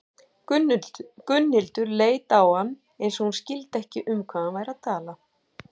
Gunnhildur leit á hann eins og hún skildi ekki um hvað hann væri að tala.